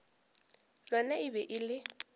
lona e be e le